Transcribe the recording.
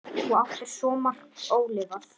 Þú áttir svo margt ólifað.